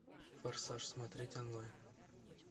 форсаж смотреть онлайн